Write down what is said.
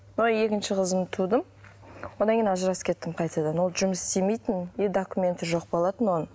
екінші қызымды тудым одан кейін ажырасып кеттім қайтадан ол жұмыс істемейтін и документі жоқ болатын оның